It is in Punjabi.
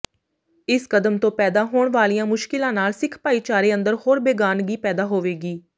ਇਸ ਕਦਮ ਤੋਂ ਪੈਦਾ ਹੋਣ ਵਾਲੀਆਂ ਮੁਸ਼ਕਿਲਾਂ ਨਾਲ ਸਿੱਖ ਭਾਈਚਾਰੇ ਅੰਦਰ ਹੋਰ ਬੇਗਾਨਗੀ ਪੈਦਾ ਹੋਵੇਗੀ